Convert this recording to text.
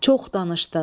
Çox danışdın.